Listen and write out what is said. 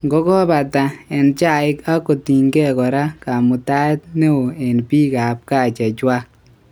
ngokopata. en chaik ak kotinge kora kamutaet neo en pik ap gaa chechwang.